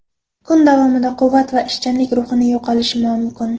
Kun davomida quvvat va ishchanlik ruhi yo‘qolishi mumkin.